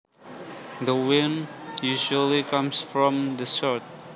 The wind usually comes from the south